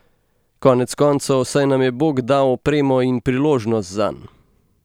Konec koncev, saj nam je bog dal opremo in priložnost zanj.